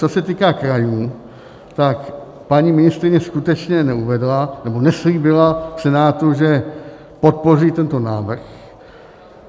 Co se týká krajů, tak paní ministryně skutečně neuvedla, nebo neslíbila Senátu, že podpoří tento návrh.